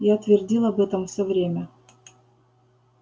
я твердил об этом все время